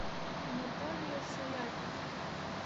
наталья саяпина